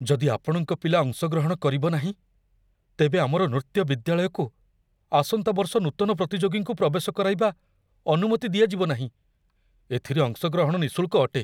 ଯଦି ଆପଣଙ୍କ ପିଲା ଅଂଶଗ୍ରହଣ କରିବ ନାହିଁ, ତେବେ ଆମର ନୃତ୍ୟ ବିଦ୍ୟାଳୟକୁ ଆସନ୍ତା ବର୍ଷ ନୂତନ ପ୍ରତିଯୋଗୀଙ୍କୁ ପ୍ରବେଶ କରାଇବା ଅନୁମତି ଦିଆଯିବ ନାହିଁ। ଏଥିରେ ଅଂଶଗ୍ରହଣ ନିଃଶୁଳ୍କ ଅଟେ।